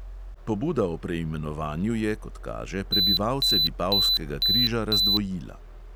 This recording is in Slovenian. Pobuda o preimenovanju je, kot kaže, prebivalce vipavskega križa razdvojila.